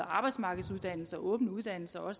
arbejdsmarkedsuddannelser og åbne uddannelser og